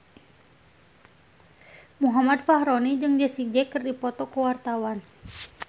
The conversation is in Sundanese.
Muhammad Fachroni jeung Jessie J keur dipoto ku wartawan